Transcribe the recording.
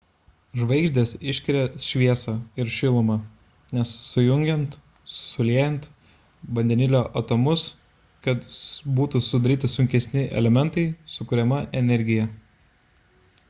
žvaigždės išskiria šviesą ir šilumą nes sujungiant suliejant vandenilio atomus kad būtų sudaryti sunkesni elementai sukuriama energija